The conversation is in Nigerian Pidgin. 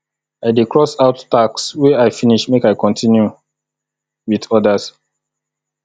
i dey cross out tasks wey i finish make i continue wit odas